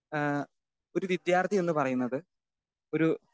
speaker 2 ഏഹ് ഒരു വിദ്യാർത്ഥിയെന്ന് പറയുന്നത് ഒരു